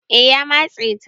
eh ya matse ta